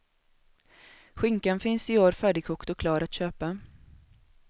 Skinkan finns i år färdigkokt och klar att köpa.